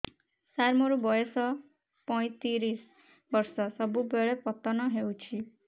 ସାର ମୋର ବୟସ ପୈତିରିଶ ବର୍ଷ ସବୁବେଳେ ପତନ ହେଉଛି